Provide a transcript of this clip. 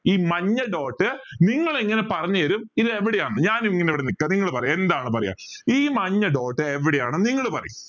ഈ മഞ്ഞ dot നിങ്ങൾ എങ്ങനെ പറഞ്ഞു തരും ഇത് എവിടെയാന്ന് ഞാൻ ഇങ്ങനെ ഇവിടെ നിക്ക നിങ്ങൾ പറ എന്താണ് പറയാ ഈ മഞ്ഞ dot എവിടെയാണ് നിങ്ങൾ പറയ്